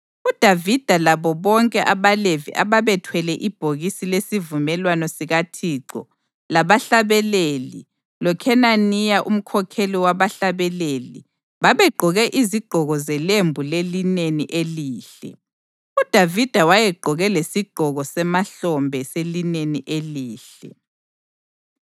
UDavida labo bonke abaLevi ababethwele ibhokisi lesivumelwano sikaThixo labahlabeleli loKhenaniya umkhokheli wabahlabeleli babegqoke izigqoko zelembu lelineni elihle, uDavida wayegqoke lesigqoko semahlombe selineni elihle.